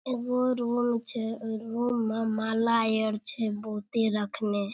एगो रूम छै ओय रूम में माला आर छै बहुते रखने।